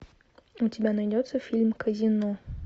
у тебя найдется фильм казино